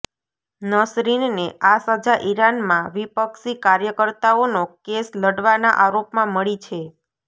નસરીનને આ સજા ઈરાનમાં વિપક્ષી કાર્યકર્તાઓનો કેસ લડવાના આરોપમાં મળી છે